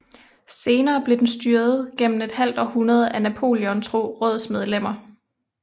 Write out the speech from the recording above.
Senere blev den styret gennem et halvt århundrede af Napoleontro rådsmedlemmer